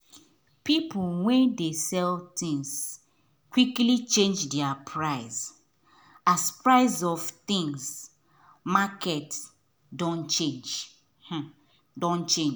people wen dey sell things quickly change there price as price of things market doh change doh change